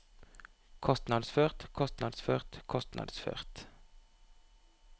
kostnadsført kostnadsført kostnadsført